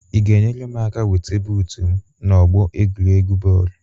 Ị ga-enyere m aka weta buut m n'ọgbọ egwuregwu bọọlụ